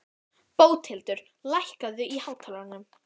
Bóthildur, lækkaðu í hátalaranum.